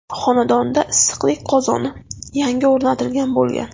xonadonida issiqlik qozoni yangi o‘rnatilgan bo‘lgan.